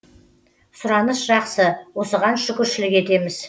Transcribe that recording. сұраныс жақсы осыған шүкіршілік етеміз